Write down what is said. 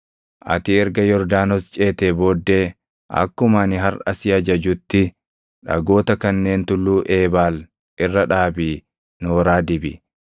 Ati erga Yordaanos ceetee booddee akkuma ani harʼa si ajajutti dhagoota kanneen Tulluu Eebaal irra dhaabii nooraa dibi.